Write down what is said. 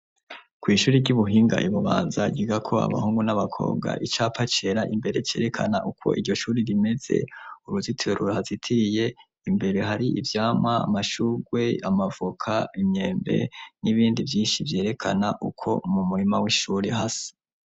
Kw'ishuri ry'ubuhinga i Bubanza ryigako abahungu n'abakobwa icapa cera imbere cerekana uko iryo shure rimeze, uruzitiro ruhazitiye imbere hari ivyamwa amashurwe, amavoka, imyembe n'ibindi vyinshi vyerekana uko mu murima w'ishuri hasa.